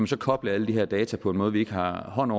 så koble alle de her data på en måde vi ikke har hånd